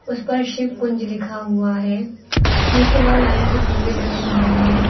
उस पर शिवकुंज लिखा हुआ है नीचे व लाइन से खंबे बने हुए हैं।